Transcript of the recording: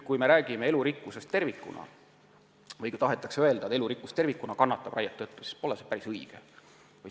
Kui räägime elurikkusest tervikuna, siis öelda, et raie tõttu elurikkus tervikuna kannatab, pole päris õige.